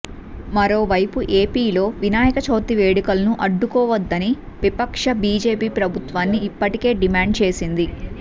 మరోవైపు ఏపీలో వినాయక చవితి వేడుకలను అడ్డుకోవద్దని విపక్ష బీజేపీ ప్రభుత్వాన్ని ఇప్పటికే డిమాండ్ చేసింది